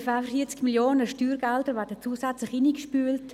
Ungefähr 40 Mio. Franken an Steuergeldern werden zusätzlich hineingespült.